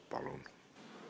Palun!